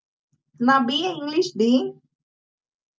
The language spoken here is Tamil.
நான் BA இங்கிலிஷ்டி